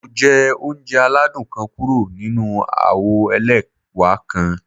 Mo jẹ ounjẹ aladun kan kuro ninu awo ẹlẹwa kan.